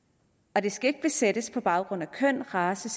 og det skal ikke besættes på baggrund af køn race